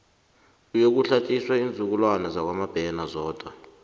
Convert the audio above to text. kuyokuhlatjiswa iinzukulwana zakwamabena zodwa